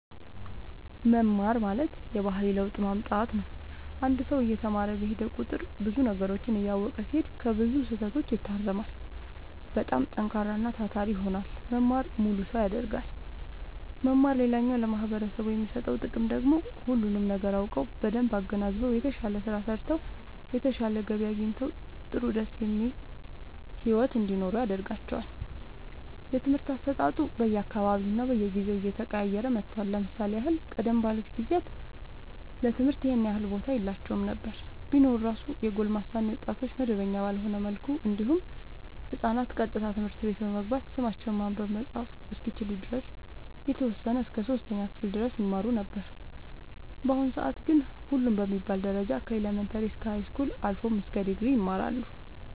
መማር ማለት የባህሪ ለውጥ ማምጣት ነው አንድ ሰው እየተማረ በሄደ ቁጥር ብዙ ነገሮችን እያወቀ ሲሄድ ከብዙ ስህተቶች ይታረማል በጣም ጠንካራና ታታሪ ይሆናል መማር ሙሉ ሰው ያደርጋል መማር ሌላኛው ለማህበረሰቡ የሚሰጠው ጥቅም ደግሞ ሁሉንም ነገር አውቀው በደንብ አገናዝበው የተሻለ ስራ ሰርተው የተሻለ ገቢ አግኝተው ጥሩ ደስ የሚል ሒወት እንዲኖሩ ያደርጋቸዋል። የትምህርት አሰጣጡ በየ አካባቢውና በየጊዜው እየተቀያየረ መጥቷል ለምሳሌ ያህል ቀደም ባሉት ጊዜያት ለትምህርት ይኸን ያህል ቦታ የላቸውም ነበር ቢኖር እራሱ የጎልማሳ እና የወጣቶች መደበኛ ባልሆነ መልኩ እንዲሁም ህፃናት ቀጥታ ትምህርት ቤት በመግባት ስማቸውን ማንበብ መፃፍ እስከሚችሉ ድረስ የተወሰነ እስከ 3ኛ ክፍል ድረስ ይማሩ ነበር በአሁኑ ሰአት ግን ሁሉም በሚባል ደረጃ ከኢለመንታሪ እስከ ሀይስኩል አልፎም ድግሪ ይማራሉ